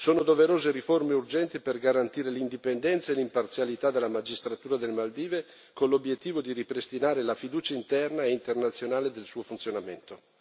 Sono doverose riforme urgenti per garantire l'indipendenza e l'imparzialità della magistratura delle Maldive, con l'obiettivo di ripristinare la fiducia interna e internazionale nel suo funzionamento.